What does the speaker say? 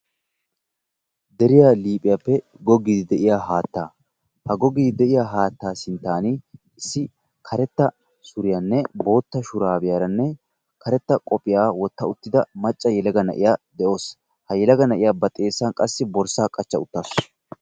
Deriya liiphphiyappe googgiidi de'iyaa haattaa ha googgiidi de'iya haattaa sinttan issi karettaa suriyanne bootta shuraabiyaranne karettaa qophphiya wotta uttida macca yelaga na'iya de'awusu. Ha yelaga na'iya qassi borssaa ba xeessan qachcha uttaasu.